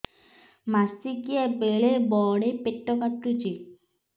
ମାସିକିଆ ବେଳେ ବଡେ ପେଟ କାଟୁଚି